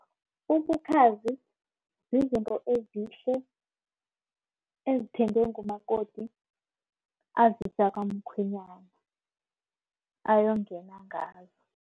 Ubukhazi zizinto ezihle ezithengwe ngumakoti azisa kamkhwenyana ayongena ngazo.